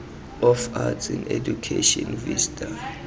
of arts in education vista